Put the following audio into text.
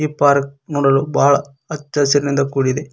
ಈ ಪಾರ್ಕ್ ನೋಡಲು ಬಹಳ ಹಚ್ಚಹಸಿರಿನಿಂದ ಕೂಡಿದೆ